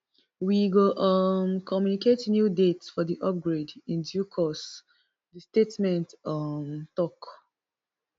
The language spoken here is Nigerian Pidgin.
we go um communicate new date for di upgrade in due course di statement um tok